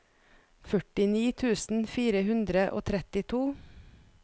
førtini tusen fire hundre og trettito